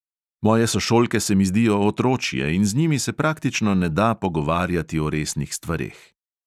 Moje sošolke se mi zdijo otročje in z njimi se praktično ne da pogovarjati o resnih stvareh.